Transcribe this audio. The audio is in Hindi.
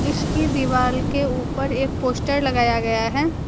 इसकी दीवाल के ऊपर एक पोस्टर लगाया गया है।